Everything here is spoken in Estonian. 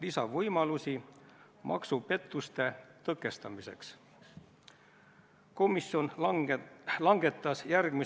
Aga ma tuletan lugupeetud kolleegidele meelde, et selle eelnõu arutelul komisjonis oli otsus teine lugemine lõpetada konsensuslik.